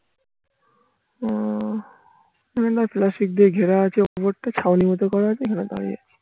আহ plastic দিয়ে ঘেরা আছে ওপরটা ছাউনির মতো করা আছে এখানে দাঁড়িয়ে আছি